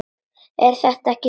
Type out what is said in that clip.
Er þetta ekki satt?